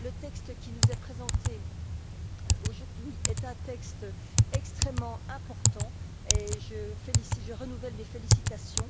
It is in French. Le texte qui nous est présenté aujourd'hui est un texte extrêmement important et je renouvelle mes félicitations.